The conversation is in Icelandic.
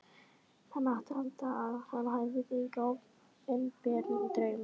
Það mátti halda að hann hefði fengið opinberun í draumi.